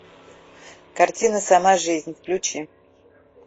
картина сама жизнь включи